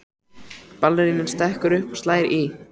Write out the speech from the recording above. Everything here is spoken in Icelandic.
Ballerínan stekkur upp og slær í.